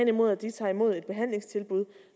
imod at de tager imod et behandlingstilbud